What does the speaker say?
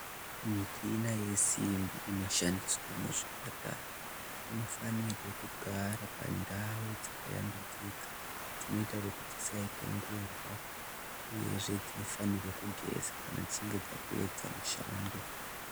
Muchina yese inoshandiswa muzvipatara inofanirwa kugara pandau dzakayambudzika dzinoita kuti dzisaita ngura uyezve dzinofana kugeza kana dzichinge dzapedza mishando.